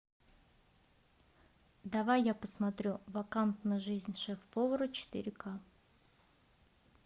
давай я посмотрю вакантна жизнь шеф повара четыре ка